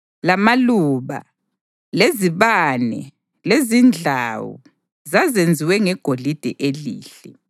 lamaluba, lezibane lezindlawu (zazenziwe ngegolide elihle);